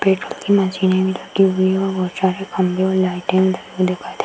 paper की मशीनें भी रखी हुई हैं और बोहत सारे खंभे और लाइटें दिखाई दे --